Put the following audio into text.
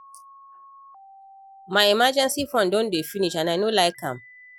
My emergency fund don dey finish and I no like am